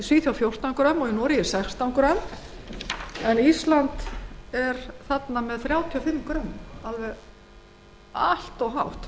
grömm og í noregi sextán grömm en á íslandi er hlutfallið þrjátíu og fimm grömm af hundrað grömmum af fitu sem allt of hátt